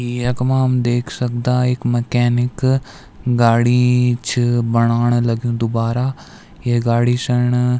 ई यख्मा हम देख सकदा इक मैकेनिक गाडी छ बणोण लग्युं दुबारा ये गाडी सैण।